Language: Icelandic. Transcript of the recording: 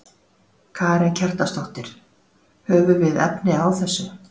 Karen Kjartansdóttir: Höfum við efni á þessu?